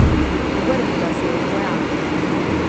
Obrnila se je k vojakoma.